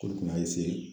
K'olu kun y'a